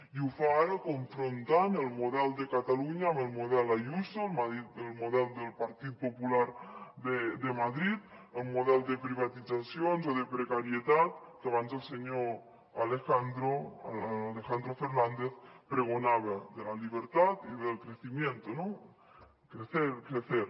i ho fa ara confrontant el model de catalunya amb el model ayuso el model del partit popular de madrid el model de privatitzacions o de precarietat que abans el senyor alejandro fernández pregonava de la libertad y del crecimiento no crecer crecer